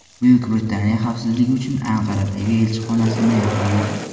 Buyuk Britaniya xavfsizlik uchun Anqaradagi elchixonasini yopadi.